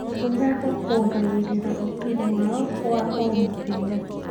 Gũthaka kuongagĩrĩra ũtungi wao wa o mũthenya.